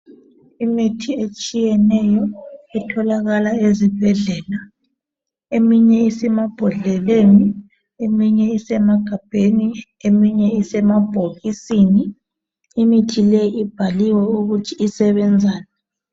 Imithi etshiyetshiyeneyo etholakala ezibhedlela, eminye isemabhodleleni eminye isemagabheni eminye isemabhokisini. Imithi leyi ibhaliwe ukuthi isebenzani.